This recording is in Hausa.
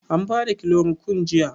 An bada kilorokun jiya?